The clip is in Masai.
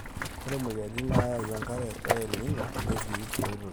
ore moyiaritin naayau enkare e el nino netii enkoitoi